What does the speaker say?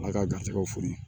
Ala ka garisigɛw foni